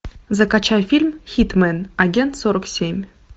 закачай фильм хитмэн агент сорок семь